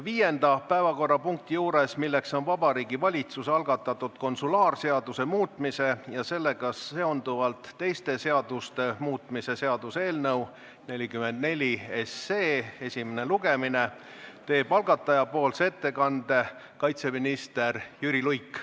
Viienda päevakorrapunkti juures, milleks on Vabariigi Valitsuse algatatud konsulaarseaduse muutmise ja sellega seonduvalt teiste seaduste muutmise seaduse eelnõu esimene lugemine, teeb algatajapoolse ettekande kaitseminister Jüri Luik.